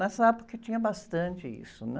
Nessa época tinha bastante isso, né?